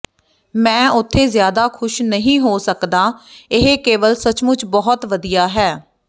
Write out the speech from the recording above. ਮੈਂ ਉੱਥੇ ਜ਼ਿਆਦਾ ਖੁਸ਼ ਨਹੀਂ ਹੋ ਸਕਦਾ ਇਹ ਕੇਵਲ ਸੱਚਮੁੱਚ ਬਹੁਤ ਵਧੀਆ ਹੈ